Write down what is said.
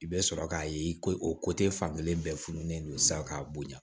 I bɛ sɔrɔ k'a ye i ko o ko tɛ fankelen bɛɛ fununen don sisan k'a bonya